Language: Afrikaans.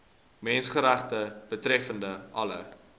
menseregte betreffende alle